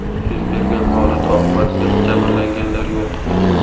Yuz bergan holat oqibatida jabrlanganlar yo‘q.